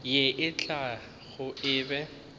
ye e tlago o be